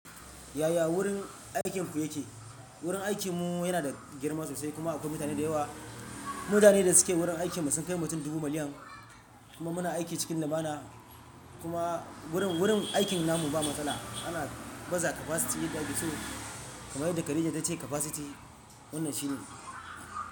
Yaya wurin aikin ku yake? Gurin aikinmu yana da girma sosai kuma akwai mutane da yawa. Mutane da suke wurin aikinmu sun kai mutun dubu miliyan. Kuma muna aiki cikin lumana. Kuma wurin, wurin aikin na mu ba matsala ana baza capacity yaada ake so. Kamar yadda Khadija ta ce capacity wannan shine.